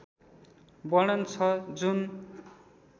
वर्णन छ जुन